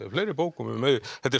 fleiri bókum um Auði þetta er